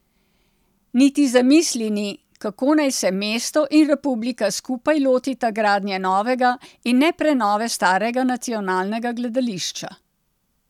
Niti zamisli ni, kako naj se mesto in republika skupaj lotita gradnje novega, in ne prenove starega nacionalnega gledališča.